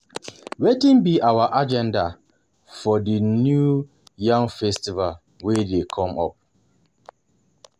Wetin be our agenda for the new yam festival wey dey come up?